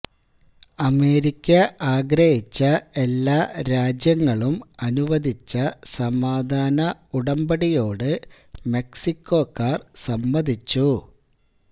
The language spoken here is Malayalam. അമേരിക്ക ആഗ്രഹിച്ച എല്ലാ രാജ്യങ്ങളും അനുവദിച്ച സമാധാന ഉടമ്പടിയോട് മെക്സിക്കോക്കാർ സമ്മതിച്ചു